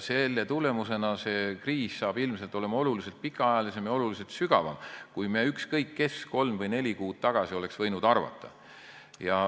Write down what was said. Selle tõttu see kriis tuleb ilmselt oluliselt pikemaajalisem ja sügavam, kui ükskõik kes meist kolm või neli kuud tagasi oleks võinud arvata.